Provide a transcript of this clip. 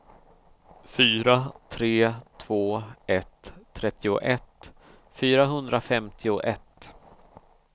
fyra tre två ett trettioett fyrahundrafemtioett